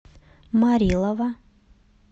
морилова